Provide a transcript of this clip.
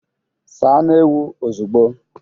Saa anụ ewu ozugbo!